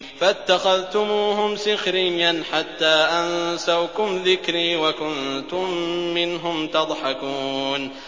فَاتَّخَذْتُمُوهُمْ سِخْرِيًّا حَتَّىٰ أَنسَوْكُمْ ذِكْرِي وَكُنتُم مِّنْهُمْ تَضْحَكُونَ